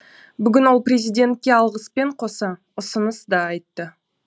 бүгін ол президентке алғыспен қоса ұсыныс да айтты